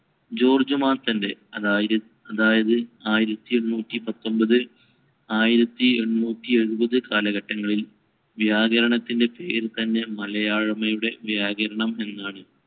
George മാത്തന്‍റെ അതായിര~ അതായത് ആയിരത്തിഎണ്ണൂറ്റി പത്തൊൻപത് ആയിരത്തിഎണ്ണൂറ്റി എഴുപത് കാലഘട്ടങ്ങളിൽ വ്യാകരണത്തിന്‍റെ പേരുതന്നെ മലയാഴ്മയുടെ വ്യാകരണം എന്നാണ്.